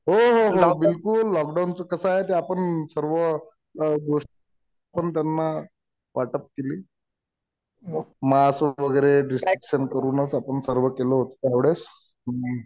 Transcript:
हो हो बिलकुल. लॉक डाऊनचं कसं आहे ते आपण सर्व गोष्टी पण त्यांना वाटप केलीत. मास्क वगैरे डिसइन्फेक्टन्ट करूनच आपण सर्व केलं होतं त्या वेळेस.